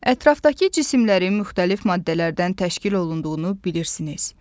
Ətrafdakı cisimlərin müxtəlif maddələrdən təşkil olunduğunu bilirsiniz.